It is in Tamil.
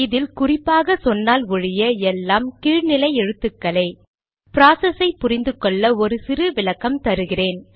இதில் குறிப்பாக சொன்னால் ஒழிய எல்லாம் கீழ் நிலை எழுத்துக்களே ப்ராசஸை புரிந்து கொள்ள ஒரு சிறு விளக்கம் தருகிறேன்